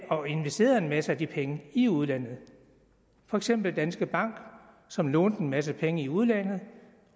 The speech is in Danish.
og investerede en masse af de penge i udlandet for eksempel danske bank som lånte en masse penge i udlandet